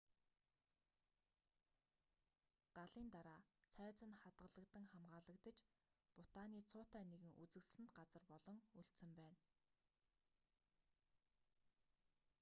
галын дараа цайз нь хадаглагдан хамгаалагдаж бутаны цуутай нэгэн үзэгсэлэнт газар болон үлдсэн байна